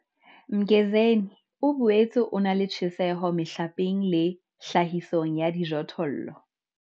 Mgezeni o boetse o na le tjheseho mehlapeng le tlhahisong ya dijothollo.